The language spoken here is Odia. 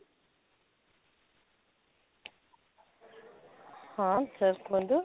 ହଁ sir କୁହନ୍ତୁ